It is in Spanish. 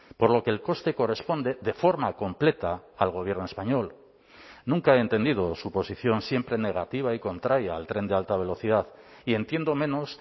general por lo que el coste corresponde de forma completa al gobierno nunca he entendido su posición siempre negativa y contraria al tren de alta velocidad y entiendo menos